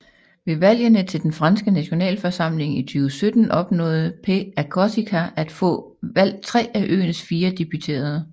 Ved valgene til den franske nationalforsamling i 2017 opnåede Pè a Corsica at få valgt 3 af øens 4 deputerede